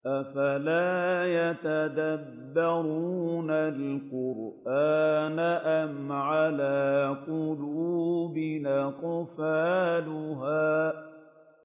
أَفَلَا يَتَدَبَّرُونَ الْقُرْآنَ أَمْ عَلَىٰ قُلُوبٍ أَقْفَالُهَا